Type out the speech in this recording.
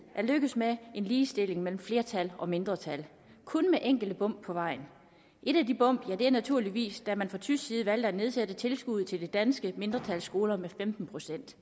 er lykkedes med en ligestilling mellem flertal og mindretal kun med enkelte bump på vejen et af de bump var naturligvis da man fra tysk side valgte at nedsætte tilskuddet til det danske mindretals skoler med fem